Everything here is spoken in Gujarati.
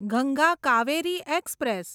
ગંગા કાવેરી એક્સપ્રેસ